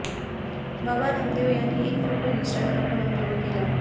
बाबा रामदेव यांनी एक फोटो इन्स्टाग्रामवर अपलोड केला